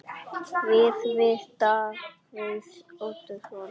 Viðtöl við Davíð Oddsson